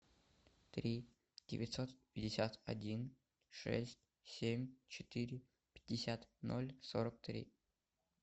три девятьсот пятьдесят один шесть семь четыре пятьдесят ноль сорок три